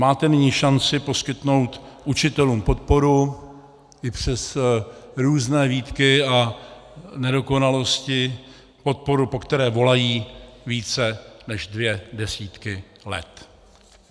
Máte nyní šanci poskytnout učitelům podporu i přes různé výtky a nedokonalosti, podporu, po které volají více než dvě desítky let.